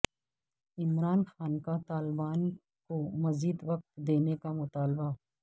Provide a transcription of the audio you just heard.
عمران خان کا طالبان کو مزید وقت دینے کا مطالبہ